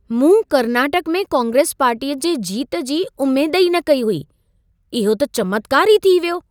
मूं कर्नाटक में कांग्रेस पार्टीअ जे जीत जी उमेद ई न कई हुई। इहो त चमत्कार ई थी वियो।